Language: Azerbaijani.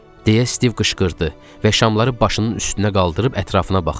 deyə Stiv qışqırdı və şamları başının üstünə qaldırıb ətrafına baxdı.